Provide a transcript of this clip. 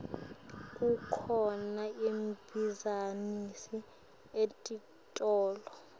kukhona emabhizinisi etitolo